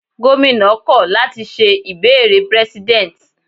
Gómìnà kọ̀ láti ṣe ìbéèrè prẹ́sídẹ̀nt